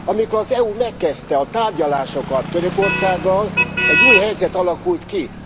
Amikor az EU megkezdte a tárgyalásokat Törökországgal, egy új helyzet alakult ki.